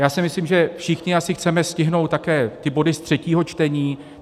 Já si myslím, že všichni asi chceme stihnout také ty body z třetího čtení.